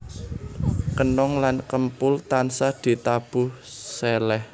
Kenong lan kempul tansah ditabuh seleh